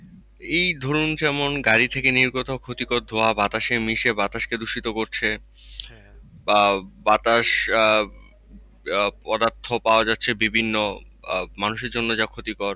এই যেমন ধরুন গাড়ি থেকে নির্গত ক্ষতিকর ধোঁয়া বাতাসে মিশে বাতাসকে দূষিত করছে। বা বাতাশ আহ আহ পদার্থ পাওয়া যাচ্ছে বিভিন্ন আহ মানুষের জন্য যা ক্ষতিকর।